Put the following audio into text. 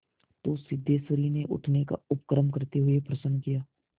तो सिद्धेश्वरी ने उठने का उपक्रम करते हुए प्रश्न किया